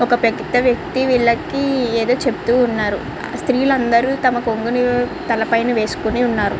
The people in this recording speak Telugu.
ఓకే పెద్ద వ్యక్తి విల్లకి ఏదో చేపుతునారు స్త్రీ లు అందరు తల పైన కొంగు వేసుకొని వున్నారు.